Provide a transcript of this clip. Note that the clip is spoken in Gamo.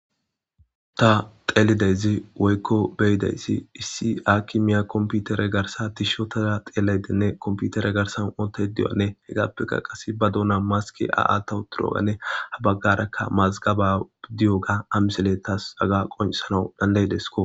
ta xeelidayzi woykko beyidayssi issi a kimiya komputere garsa tishotada xeelaydenne komputere garsan oota diyane hegaappeka qase ba duuna maski a7atawu turoganne habaggarakka mazgaba bidiyoga amisele tas aga qonsanau dandayidesko